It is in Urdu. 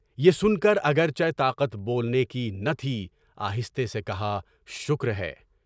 یہ سن کر، گرچہ طاقت بولنے کی نہ تھی، آہستہ سے کہا، شکر ہے۔